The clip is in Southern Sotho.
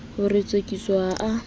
ho re tsekiso ha a